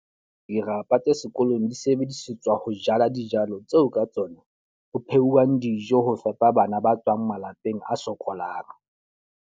Dirapa tse sekolong di sebedisetswa ho jala dijalo, tseo ka tsona ho phehuwang dijo ho fepa bana ba tswang malapeng a sokolang.